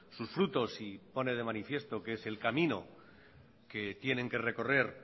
sus frutos y pone de manifiesto que es el camino que tienen que recorrer